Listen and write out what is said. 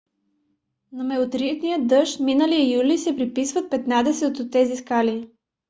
на метеоритния дъжд миналия юли се приписват петнадесет от тези скали